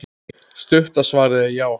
Stutta svarið er já.